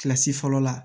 Kilasi fɔlɔ la